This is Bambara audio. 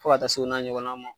Fo ka taa se o n'a ɲɔgɔn na ma.